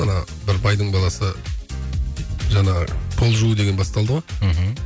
ана бір байдың баласы жаңа пол жуу деген басталды ғой мхм